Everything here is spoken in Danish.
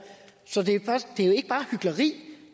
så det er jo ikke bare hykleri